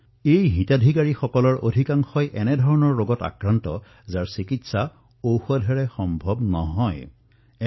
এই হিতাধিকাৰীসকলৰ অধিকাংশই এনে ৰোগত আক্ৰান্ত হৈছিল যে তাৰ চিকিৎসা সামান্য ঔষধৰ দ্বাৰা সম্ভৱ নহলহেঁতেন